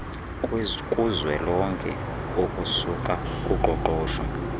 kuzwelonke okusuka kuqoqosho